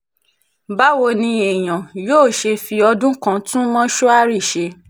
báwo ni èèyàn yóò ṣe fi ọdún kan tún mortuary ṣe